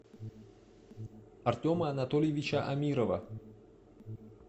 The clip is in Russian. артема анатольевича амирова